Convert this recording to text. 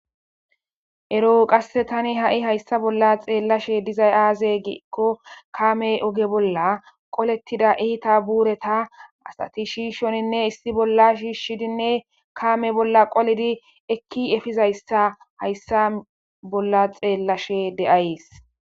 Ero qasse tani ha'i hayssa bolla xeellashe dizay aaze giekko kaame oge bolla qolettida iita buureta asati shiishoninne issi bolla shiishshidinne kaame bolla qolidi ekki efizayssa hayssa bolla xeellashe de'ayes.